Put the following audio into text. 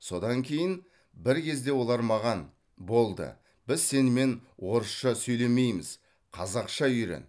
содан кейін бір кезде олар маған болды біз сенімен орысша сөйлемейміз қазақша үйрен